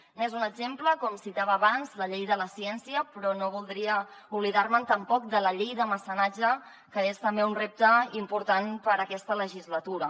n’és un exemple com citava abans la llei de la ciència però no voldria oblidar me tampoc de la llei de mecenatge que és també un repte important per a aquesta legislatura